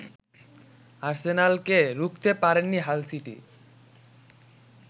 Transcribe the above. আর্সেনালকে রুখতে পারেনি Hull city